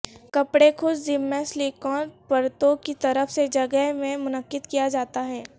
کپڑے خود ذمہ سلیکون پرتوں کی طرف سے جگہ میں منعقد کیا جاتا ہے